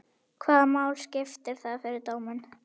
Hvaða máli skiptir það fyrir dóminn?